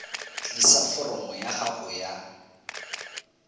tlisa foromo ya gago ya